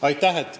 Aitäh!